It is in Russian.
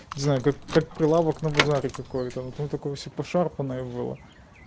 знаю как как прилавок на базаре там какое-то все пошарпонное было